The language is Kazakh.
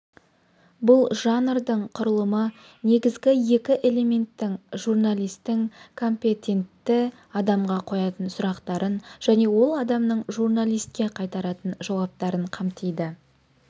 бұл жанрдың құрылымы негізгі екі элементті журналисттің компетентті адамға қоятын сұрақтарын және ол адамның журналистке қайтаратын жауаптарын қамтиды